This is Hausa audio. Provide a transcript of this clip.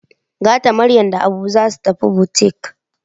Gata Maryam da Habu za su tafi butik.